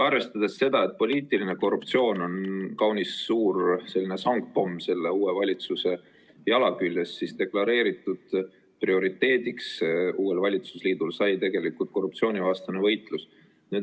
Arvestades seda, et poliitiline korruptsioon on kaunis suur sangpomm uue valitsuse jala küljes, sai uue valitsusliidu deklareeritud prioriteediks korruptsioonivastane võitlus.